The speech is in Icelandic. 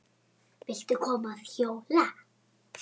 Viltu koma að hjóla?